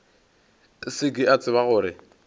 se ke a tseba gore